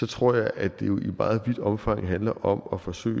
tror jeg at det i meget vidt omfang handler om at forsøge